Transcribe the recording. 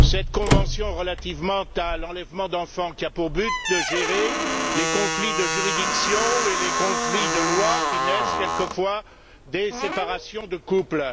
cette convention relative à l'enlèvement international d'enfants a pour but de gérer les conflits de juridictions et les conflits de lois qui naissent quelquefois des séparations de couples.